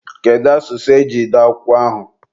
kedu asụsụ eji dee akwụkwọ ahụ?